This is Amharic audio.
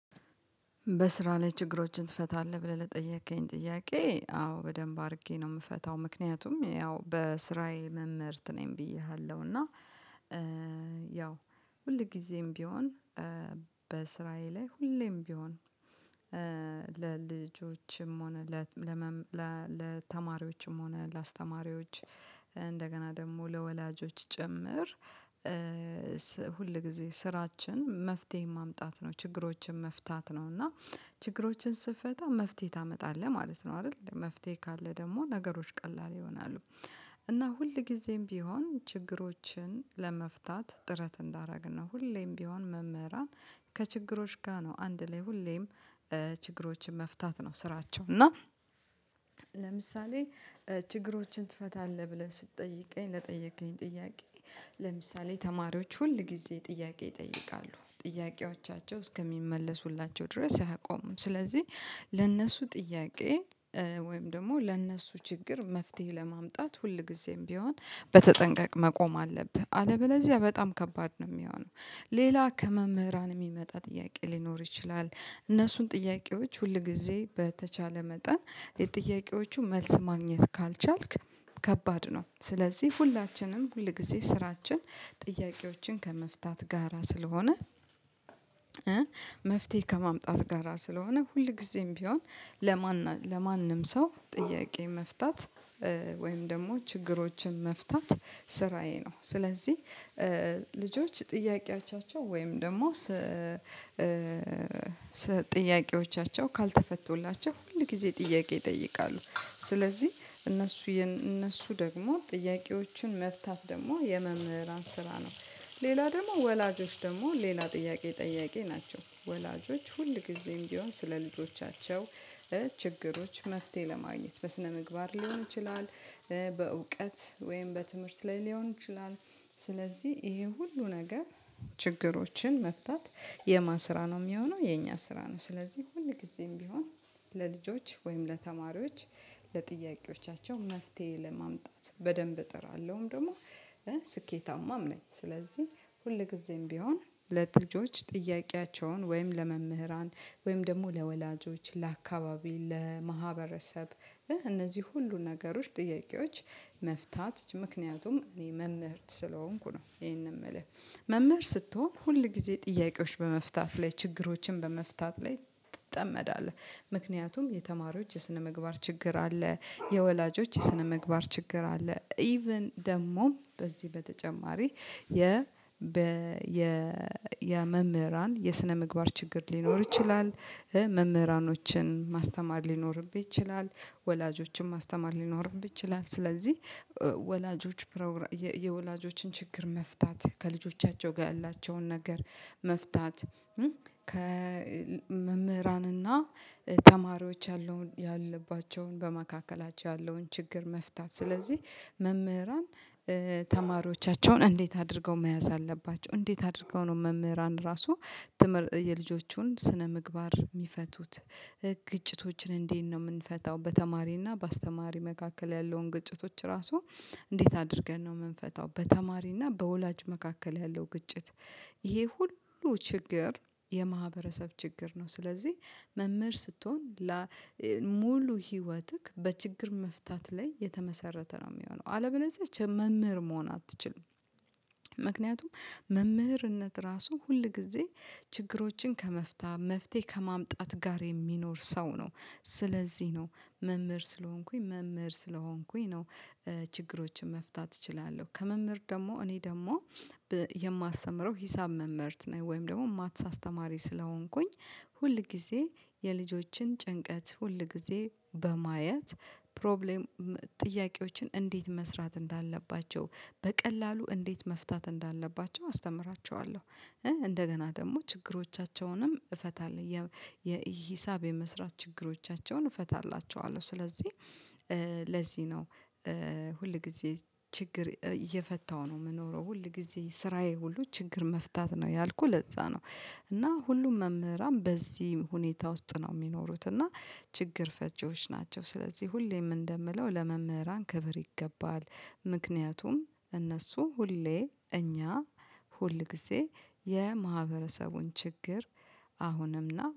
በስራ ላይ ችግሮችን ትፈታለህ ብለህ ለጠየከኝ ጥያቄ? አዎ በደንብ አድርጌ ነው የምፈታው ምክንያቱም ያው በስራዬ መምህርት ነኝ ብዬሃለሁ። እና ያው ሁልጊዜም ቢሆን በስራየ ላይ ሁሌም ቢሆን ለልጆችም ሆነ ለተማሪዎችም ሆነ ለአስተማሪዎች እንደገና ደግሞ ለወላጆች ጭምር። ሁል ጊዜ ስራችን መፍትሄ ማምጣት ነው ችግሮችን መፍታት ነው። እና ችግሮችን ስትፈታ መፍትሄ ታመጣለህ ማለት ነው። አይደል መፍትሄ ካለ ደግሞ ነገሮች ቀላል ይሆናሉ። እና ሁልጊዜም ቢሆን ችግሮችን ለመፍታት ጥረት እንዳደረግን ነው። ሁሌም ቢሆን መምህራን ከችግሮች ጋር ነው አንድ ላይ ሁሌም ችግሮችን መፍታት ነው ስራቸው። እና ለምሳሌ ችግሮችን ትፈታለህ ብለህ ስትጠይቀኝ ለጠየቅከኝ ጥያቄ። ለምሳሌ ተማሪዎች ሁል ጊዜ ጥያቄ ይጠይቃሉ ጥያቄዎቻቸው እስከሚመለሱላቸው ድረስ አያቆሙም። ስለዚህ ለእነሱ ጥያቄ ወይም ደግሞ ለእነሱ ችግር መፍትሄ ለማምጣት ሁልጊዜም ቢሆን በተጠንቀቅ መቆም አለብህ አለበለዚያ በጣም ከባድ ነው ሚሆነው። ሌላ ከመምህራን ሚመጣ ጥያቄ ሊኖር ይችላል። እነሱን ጥያቄዎች ሁል ጊዜ በተቻለ መጠን የጥያቄዎቹ መልስ ማግኘት ካልቻልክ ከባድ ነው። ስለዚህ ሁላችንም ሁል ጊዜ ስራችን ጥያቄዎችን ከመፍታት ጋራ ስለሆነ። መፍትሄ ከማምጣት ጋራ ስለሆነ ሁልጊዜም ቢሆን ለማን ለማንም ሰው ጥያቄ መፍታት ወይም ደግሞ ችግሮችን መፍታት ስራዬ ነው። ስለዚህ ልጆች ጥያቄዎቻቸው ወይም ደግሞ ጥያቄዎቻቸው ካልተፈቱላቸው ሁል ጊዜ ጥያቄ ይጠይቃሉ። ስለዚህ እነሱ እነሱ ደግሞ ጥያቄዎችን መፍታት ደግሞ የመምህራን ስራ ነው። ሌላ ደግሞ ወላጆች ደግሞ ሌላ ጥያቄ ጠያቂ ናቸው። ወላጆች ሁልጊዜም ቢሆን ስለ ልጆቻቸው ችግሮች መፍትሄ ለማግኘት በስነ ምግባር ሊሆን ይችላል። በእውቀት ወይም በትምህርት ላይ ሊሆን ይችላል። ስለዚህ ይሄ ሁሉ ነገር ችግሮችን መፍታት የማ ስራ ነው የሚሆነው የኛ ስራ ነው። ስለዚህ ሁልጊዜም ቢሆን ለልጆች ወይም ለተማሪዎች ለጥያቄዎቻቸው መፍትሄ ለማምጣት በደንብ እጥራለሁም ደግሞ ስኬታማም ነኝ። ስለዚህ ሁልጊዜም ቢሆን ለልጆች ጥያቄያቸውን ወይም ለመምህራን ወይም ደግሞ ለወላጆች ለአካባቢ ለማህበረሰብ እነዚህ ሁሉ ነገሮች ጥያቄዎች መፍታት ምክንያቱም እኔ መምህር ስለሆንኩ ነው። ይሄንን ምልህ መምህር ስትሆን ሁል ጊዜ ጥያቄዎች በመፍታት ላይ ችግሮችን በመፍታት ላይ ትጠመዳለህ። ምክንያቱም የተማሪዎች የስነ ምግባር ችግር አለ። የወላጆች የስነ ምግባር ችግር አለ። ኢቭን ደግሞ በዚህ በተጨማሪ የመምህራን የስነ ምግባር ችግር ሊኖር ይችላል። መምህራኖችን ማስተማር ሊኖርብን ይችላል። ወላጆችን ማስተማር ሊኖርብህ ይችላል። ስለዚህ ወላጆች የወላጆችን ችግር መፍታት ከልጆቻቸው ጋር ያላቸውን ነገር መፍታት። ከመምህራንና ተማሪዎች ያለውን ያለባቸውን በመካከላቸው ያለውን ችግር መፍታት። ስለዚህ መምህራን ተማሪዎቻቸውን እንዴት አድርገው መያዝ አለባቸው? እንዴት አድርገው ነው መምህራን ራሱ የልጆቹን ስነ ምግባር የሚፈቱት? ግጭቶችን እንዴት ነው ምንፈታው? በተማሪና በአስተማሪ መካከል ያለውን ግጭቶች ራሱ እንዴት አድርገን ነው የምንፈታው? በተማሪና በወላጅ መካከል ያለው ግጭት። ይሄ ሁሉ ችግር የማህበረሰብ ችግር ነው። ስለዚህ መምህር ስትሆን ሙሉ ህይወትክ በችግር መፍታት ላይ የተመሰረተ ነው የሚሆነው አለበለዚያ መምህር መሆን አትችልም። ምክንያቱም መምህርነት ራሱ ሁልጊዜ ችግሮችን ከመፍታ መፍትሄ ከማምጣት ጋር የሚኖር ሰው ነው። ስለዚህ ነው መምህር ስለሆንኩኝ መምህር ስለሆንኩኝ ነው። ችግሮችን መፍታት እችላለሁ። ከመምህር ደግሞ እኔ ደግሞ የማስተምረው ሂሳብ መምህርት ነኝ። ወይም ደግሞ ማትስ አስተማሪ ስለሆንኩኝ ሁል ጊዜ የልጆችን ጭንቀት ሁልጊዜ በማየት ፕሮብሌም ጥያቄዎችን እንዴት መስራት እንዳለባቸው በቀላሉ እንዴት መፍታት እንዳለባቸው አስተምራቸዋለሁ። እንደገና ደግሞ ችግሮቻቸውንም እፈታለሁ። የሂሳብ የመስራት ችግሮቻቸውን እፈታላቸዋለሁ። ስለዚህ ለዚህ ነው ሁል ጊዜ ችግር እየፈታው ነው ምኖረው ሁል ጊዜ ስራዬ ሁሉ ችግር መፍታት ነው ያልኩት ለዛ ነው። እና ሁሉም መምህራን በዚህ ሁኔታ ውስጥ ነው የሚኖሩት እና ችግር ፈቺዎች ናቸው። ስለዚህ ሁሌም እንደምለው ለመምህራን ክብር ይገባል። ምክንያቱም እነሱ ሁሌ እኛ ሁል ጊዜ የማህበረሰቡን ችግር አሁንምና